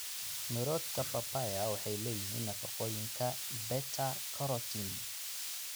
Miroodhka papayaa waxay leeyihiin nafaqooyinka beta-carotene.